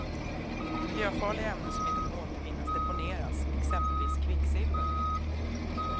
Miljöfarliga ämnen som inte kan återvinnas deponeras, exempelvis kvicksilver.